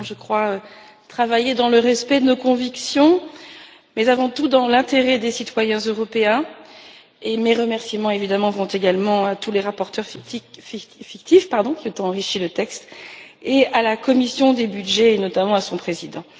Nous avons, je crois, travaillé dans le respect de nos convictions, mais avant tout dans l'intérêt des citoyens européens, et mes remerciements, évidemment, vont également à tous les rapporteurs fictifs, qui ont enrichi le texte, et à la commission des budgets, notamment à son président.